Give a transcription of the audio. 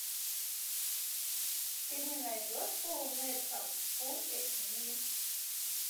ты мне найдешь полу нельсон фулл эйч ди